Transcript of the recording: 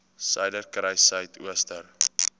suiderkruissuidooster